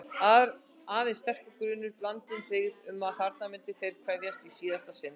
Aðeins sterkur grunur, blandinn hryggð, um að þarna myndu þeir kveðjast í síðasta sinn.